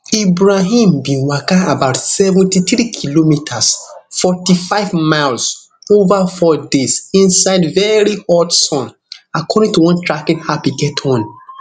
ibrahim bin waka about seventy-three kilometres forty-five miles ova four days inside very hot sun according to one tracking app e get on